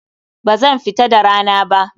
Bazan fa fita da rana ba.